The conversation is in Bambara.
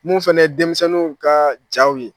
Mun fɛnɛ ye denmisɛnninw kaa jaw ye